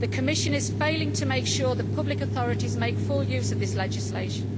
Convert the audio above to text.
The Commission is failing to make sure that public authorities make full use of this legislation.